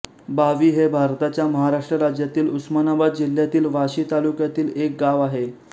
बावी हे भारताच्या महाराष्ट्र राज्यातील उस्मानाबाद जिल्ह्यातील वाशी तालुक्यातील एक गाव आहे